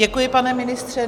Děkuji, pane ministře.